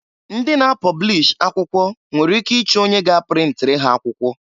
Ndị na-apọblish akwụkwọ nwere ike ịchọ onye ga-aprintiri ha akwụkwọ.